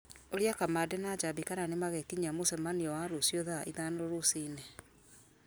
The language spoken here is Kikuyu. ũria kamande na njambi kana nĩmagekinyia mũcemanio wa rũciũ thaa ithano rũci-inĩ